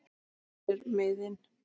hvar eru miðin?